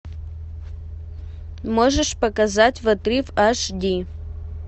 можешь показать в отрыв аш ди